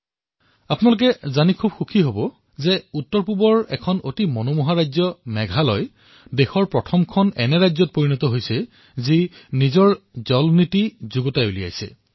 আৰু আপোনালোকে জানি সুখী হব যে উত্তৰ পূৰ্বাঞ্চলৰ মেঘালয় হল স্বজল নীতি প্ৰৱৰ্তন কৰা প্ৰথমখন ৰাজ্য